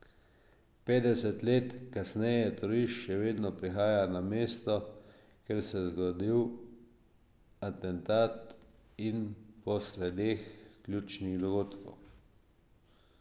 Petdeset let kasneje turisti še vedno prihajajo na mesto, kjer se je zgodil atentat in po sledeh ključnih dogodkov.